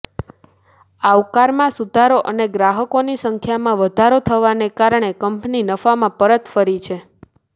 આવકમાં સુધારો અને ગ્રાહકોની સંખ્યામાં વધારો થવાને કારણે કંપની નફામાં પરત ફરી છે